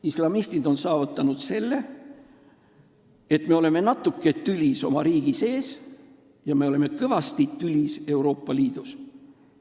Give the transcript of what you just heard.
Islamistid on saavutanud selle, et me oleme omavahel natuke tülis oma riigis ja oleme mõnedega kõvasti tülis Euroopa Liidus.